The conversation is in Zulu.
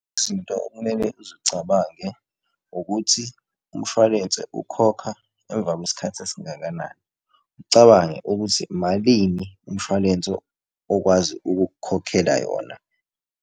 Izinto ekumele uzicabange ukuthi umshwalense ukhokha emva kwesikhathi esingakanani, ucabange ukuthi malini umshwalense okwazi ukukukhokhela yona.